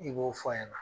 I b'o fɔ a ɲɛna